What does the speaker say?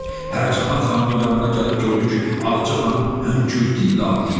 Pərcəhan xanımın yanına gəlib gördü ki, Ağacə xanım hönkürtü ilə ağlayır.